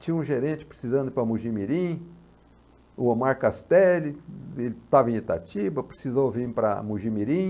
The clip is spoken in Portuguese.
Tinha um gerente precisando ir para Mogi mirim, o Omar Castelli, ele estava em Itatiba, precisou vir para Mogi mirim.